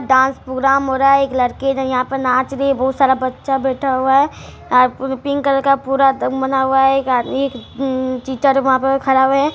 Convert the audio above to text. Dance programme हो रहा है एक लड़की ने यहाँ पे नाच रही है| बहुत सारा बच्चा बैठा हुआ है | आर पिंक कलर का पूरा दम बना हुआ है एक आदमी अम टीचर वहाँ पे खड़ा हुए हैं।